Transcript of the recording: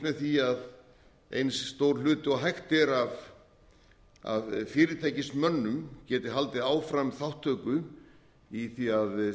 með því að eins stór hluti og hægt er af fyrirtækismönnum geti haldið áfram þátttöku í því að